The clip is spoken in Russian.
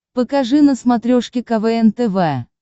покажи на смотрешке квн тв